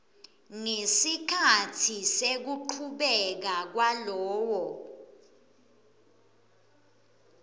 ngesikhatsi sekuchubeka kwalowo